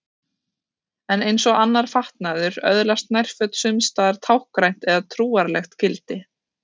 En eins og annar fatnaður öðlast nærföt sums staðar táknrænt eða trúarlegt gildi.